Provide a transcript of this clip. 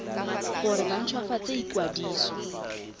gore ba nt hwafatse ikwadiso